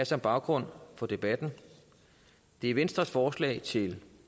som baggrund for debatten det er venstres forslag til